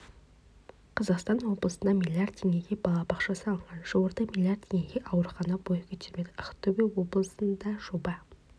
қазақстан облысында млрд теңгеге балабақша салынған жуырда млрд теңгеге аурухана бой көтермек ақтөбе облысында жоба